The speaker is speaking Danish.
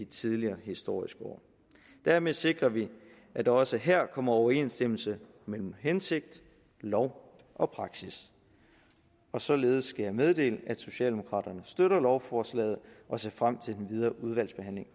tidligere historisk år dermed sikrer vi at der også her kommer overensstemmelse mellem hensigt lov og praksis således skal jeg meddele at socialdemokraterne støtter lovforslaget og ser frem til den videre udvalgsbehandling